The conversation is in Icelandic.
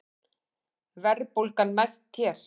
Verðbólgan mest hér